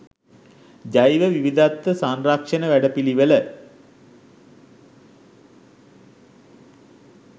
ජෛව විවිධත්ව සංරක්ෂණ වැඩපිළිවෙළ